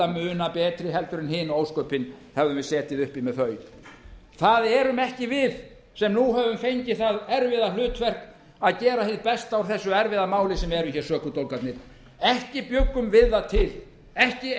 muna betri heldur en hin ósköpin hefðum við setið uppi með þau það erum ekki við sem nú höfum fengið það erfiða hlutverk að gera hið besta úr þessu erfiða máli sem eru hér sökudólgarnir ekki bjuggum við það til ekki